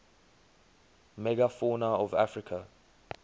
megafauna of africa